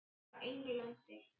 Sögusagnirnar frá Englandi?